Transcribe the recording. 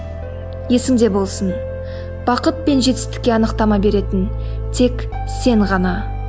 есіңде болсын бақыт пен жетістікке анықтама беретін тек сен ғана